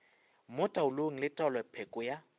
mo taolong le taolopheko ya